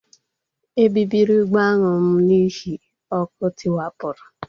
Ebibiri ụgbọ aṅụ m n'ihi ọkụ tiwapụrụ